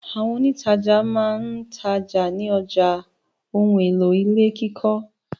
Àwọn òǹtajà máa ń Taj ní ọjà ohun-èlò ilé kíkọ́.